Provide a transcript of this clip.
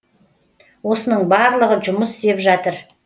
осының барлығы жұмыс істеп жатыр